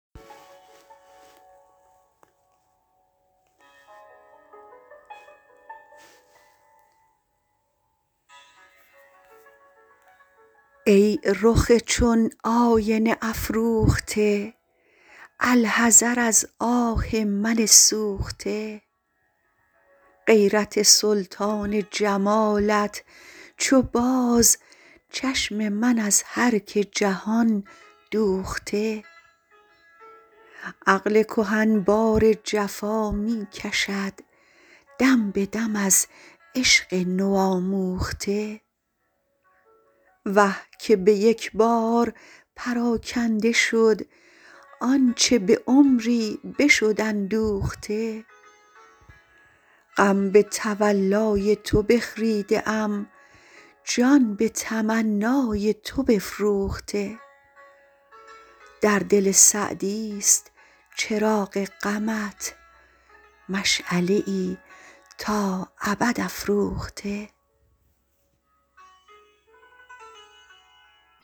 ای رخ چون آینه افروخته الحذر از آه من سوخته غیرت سلطان جمالت چو باز چشم من از هر که جهان دوخته عقل کهن بار جفا می کشد دم به دم از عشق نوآموخته وه که به یک بار پراکنده شد آنچه به عمری بشد اندوخته غم به تولای تو بخریده ام جان به تمنای تو بفروخته در دل سعدیست چراغ غمت مشعله ای تا ابد افروخته